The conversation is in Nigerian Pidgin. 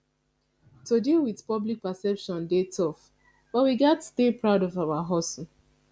to deal with public perception dey tough but we gats stay proud of our hustle